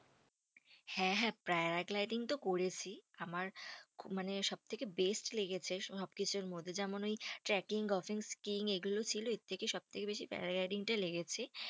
হ্যাঁ হ্যাঁ paragliding তো করেছি। আমার মানে সব থেকে best লেগেছে সবকিছুর মধ্যে। যেমন ওই trecking goffing sking এগুলো ছিল এর থেকে সবথেকে বেশি paragliding টা লেগেছে।